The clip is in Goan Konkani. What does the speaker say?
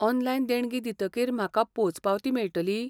ऑनलायन देणगी दितकीर म्हाका पोंचपावती मेळटली?